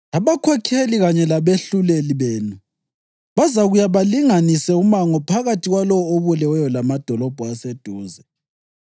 abakhokheli kanye labehluleli benu bazakuya balinganise umango phakathi kwalowo obuleweyo lamadolobho aseduze.